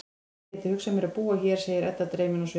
Ég gæti hugsað mér að búa hér, segir Edda dreymin á svip.